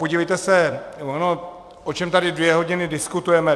Podívejte, ono o čem tady dvě hodiny diskutujeme.